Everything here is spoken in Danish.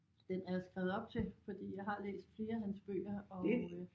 Den er jeg skrevet op til fordi jeg har læst flere af hans bøger og øh